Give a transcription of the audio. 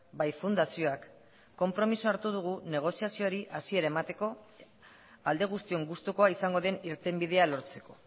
bai fundazioak konpromisoa hartu dugu negoziazioari hasiera emateko alde guztion gustukoa izango den irtenbidea lortzeko